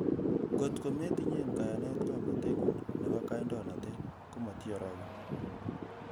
Ng'ot kometinyen kayanet ng'omnoteng'ung nebo kandoinatet ,ko motioroken.